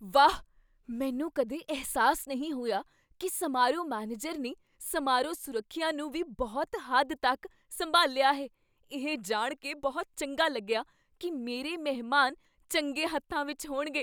ਵਾਹ, ਮੈਨੂੰ ਕਦੇ ਅਹਿਸਾਸ ਨਹੀਂ ਹੋਇਆ ਕੀ ਸਮਾਰੋਹ ਮੈਨੇਜਰ ਨੇ ਸਮਾਰੋਹ ਸੁਰੱਖਿਆ ਨੂੰ ਵੀ ਬਹੁਤ ਹੱਦ ਤੱਕ ਸੰਭਾਲਿਆ ਹੈ! ਇਹ ਜਾਣ ਕੇ ਬਹੁਤ ਚੰਗਾ ਲੱਗਿਆ ਕੀ ਮੇਰੇ ਮਹਿਮਾਨ ਚੰਗੇ ਹੱਥਾਂ ਵਿੱਚ ਹੋਣਗੇ।